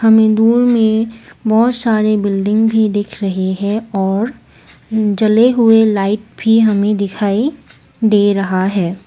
हमें दूर में बहोत सारे बिल्डिंग भी दिख रहे है और जले हुए लाइट भी हमें दिखाई दे रहा है।